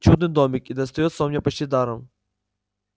чудный домик и достаётся он мне почти даром